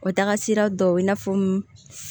O taagasi sira dɔw i n'a fɔ